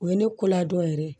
O ye ne kola dɔ yɛrɛ ye